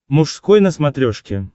мужской на смотрешке